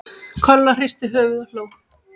Kolla hristi höfuðið og hló.